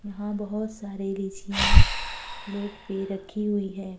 यहां बोहोत सारे लीचियाँ प्लेट पर रखी हुई हैं।